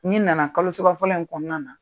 N'i nana kalo saba fɔlɔ in kɔnɔna na,